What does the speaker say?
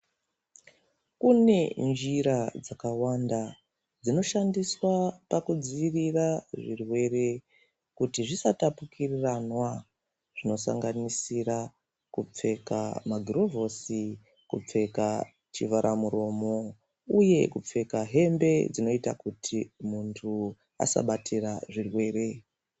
Kune njira dzakawanda dzinoshandiswa pakudziirira zvirwere kuti zvisatapukiriranwa zvinosanganisira kupfeka magurovhosi, kupfeka chivharamuromo uye kupfeka hembe dzinoita kuti muntu asabatira zvirwere.